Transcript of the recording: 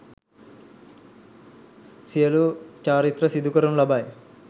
සියලු චාරිත්‍ර සිදු කරනු ලබයි